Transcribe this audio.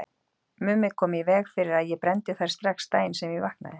Mummi kom í veg fyrir að ég brenndi þær strax daginn sem ég vaknaði.